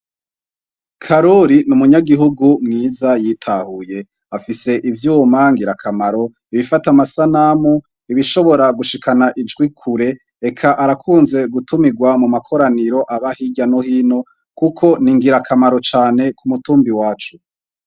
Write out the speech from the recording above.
Karuli ni umunyagihugu mwiza yitahuye afise ivyuma ngirakamaro ibifata amasa namu ibishobora gushikana ijwi kure eka arakunze gutumirwa mu makoraniro aba hirya nohino, kuko ningira akamaro cane ku mutumbi wacu.